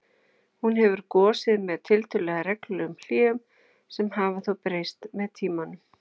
Hún hefur gosið með tiltölulega reglulegum hléum sem hafa þó breyst með tímanum.